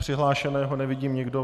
Přihlášeného nevidím - nikdo.